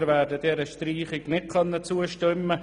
Wir werden dieser Streichung nicht zustimmen.